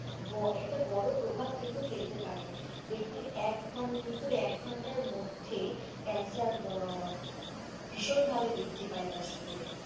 একটা বড়ো প্রভাব কিন্তু ফেলতে পারে ব্যক্তির এক ঘন মৃত্যু এক ঘন্টার মধ্যে ক্যান্সার ভীষণ ভাবে বৃদ্ধি পায় তার শরীরে,